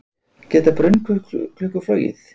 Geta brunnklukkur flogið?